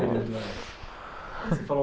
você falou